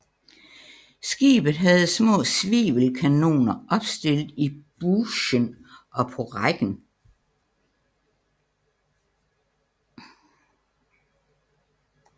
Skibet havde små svivelkanoner opstillet i bougen og på rækken